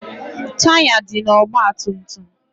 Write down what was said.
Taya dị na ọgba tum tum.